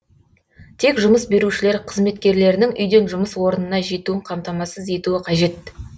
тек жұмыс берушілер қызметкерлерінің үйден жұмыс орнына жетуін қамтамасыз етуі қажет